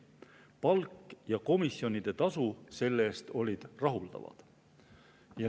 Palk ja komisjonidetasu selle eest olid rahuldavad.